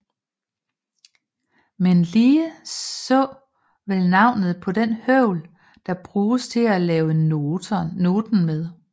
Men lige så vel navnet på den høvl der bruges til at lave noten med